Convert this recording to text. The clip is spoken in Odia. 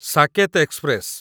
ସାକେତ ଏକ୍ସପ୍ରେସ